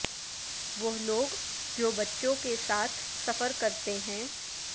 وہ لوگ جو بچوں کے ساتھ سفر کرتے ہیں